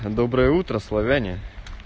доброе утро славяне